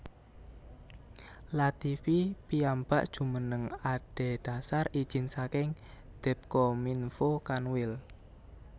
Lativi piyambak jumeneng adedhasar ijin saking Depkominfo Kanwil